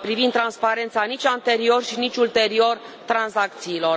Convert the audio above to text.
privind transparența, nici anterior și nici ulterior tranzacțiilor.